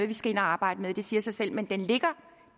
vi skal ind at arbejde med det siger sig selv men den ligger